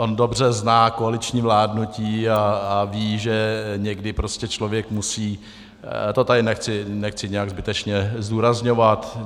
On dobře zná koaliční vládnutí a ví, že někdy prostě člověk musí, to tady nechci nějak zbytečně zdůrazňovat.